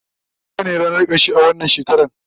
lahadi itace ranar karshe a wannan shekara